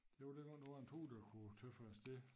Det var dengang der var en tog der kunne tøffe afsted